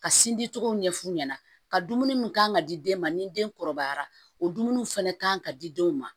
Ka sin di cogo ɲɛ f'u ɲɛna ka dumuni mun k'an ka di den ma ni den kɔrɔbayara o dumuniw fana kan ka di denw ma